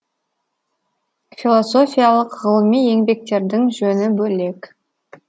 философиялық ғылыми еңбектердің жөні бөлек